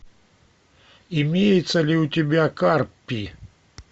имеется ли у тебя карпи